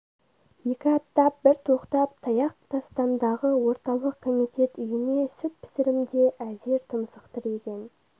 екі аттап бір тоқтап таяқ тастамдағы орталық комитет үйіне сүт пісірімде әзер тұмсық тіреген